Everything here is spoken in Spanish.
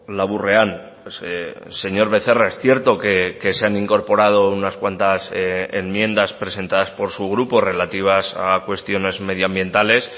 laburrean señor becerra es cierto que se han incorporado unas cuantas enmiendas presentadas por su grupo relativas a cuestiones medioambientales